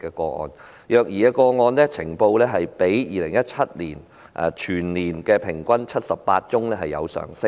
呈報虐兒個案全年平均數字較2017年的78宗有所上升。